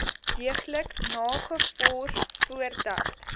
deeglik nagevors voordat